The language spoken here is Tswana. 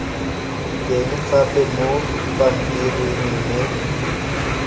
teng gape mo pampiring mme